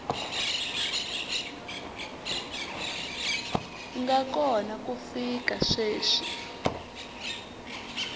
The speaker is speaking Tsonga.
nga kona ku fika sweswi